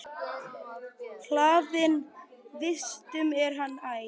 Hlaðinn vistum er hann æ.